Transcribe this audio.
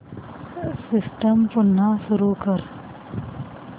system पुन्हा सुरू कर